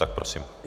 Tak prosím.